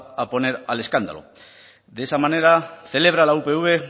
a poner al escándalo de esa manera celebra la upv